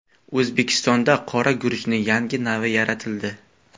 O‘zbekistonda qora guruchning yangi navi yaratildi.